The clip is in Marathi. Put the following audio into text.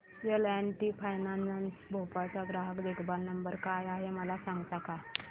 L and T finance Bhopal चा ग्राहक देखभाल नंबर काय आहे मला सांगता का